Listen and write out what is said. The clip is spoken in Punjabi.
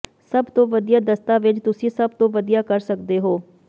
ਸਭ ਤੋਂ ਵਧੀਆ ਦਸਤਾਵੇਜ਼ ਤੁਸੀਂ ਸਭ ਤੋਂ ਵਧੀਆ ਕਰ ਸਕਦੇ ਹੋ